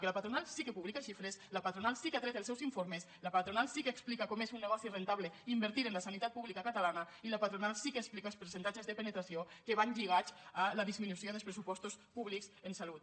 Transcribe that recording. que la patronal sí que publica xifres la patronal sí que ha tret els seus informes la patronal sí que explica com és un negoci rendible invertir en la sanitat pública catalana i la patronal sí que explica els percentatges de penetració que van lligats a la disminució dels pressupostos públics en salut